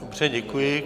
Dobře, děkuji.